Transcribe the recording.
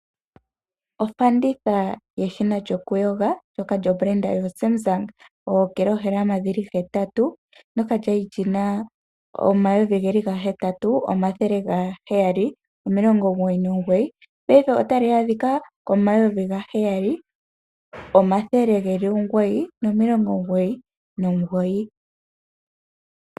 Ofanditha yeshina lyokuyoga lyedhina Samsung lyookilohalama hetatu, ndyoka lya li li na N$ 8 799, paife otali adhika N$ 7 999.